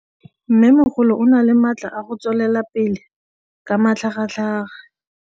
Mmêmogolo o na le matla a go tswelela pele ka matlhagatlhaga.